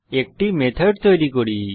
একটি মেথড তৈরী করি